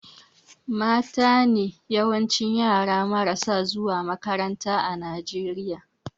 Matane yawancin yara marasa zuwa makaranta a Najeriya